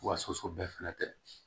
Wa soso bɛɛ fɛnɛ tɛ